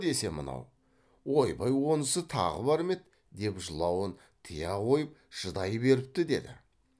десе мынау ойбай онысы тағы бар ма еді деп жылауын тыя қойып шыдай беріпті деді